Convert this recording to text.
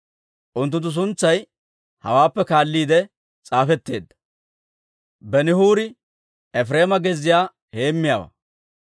Unttunttu suntsay hawaappe kaalliide s'aafetteedda. Benihuuri Efireema gezziyaa heemmiyaawaa.